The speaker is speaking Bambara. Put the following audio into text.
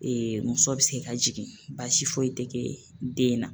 muso bɛ se ka jigin baasi foyi tɛ kɛ den na.